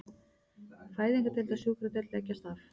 Fæðingardeild og sjúkradeild leggjast af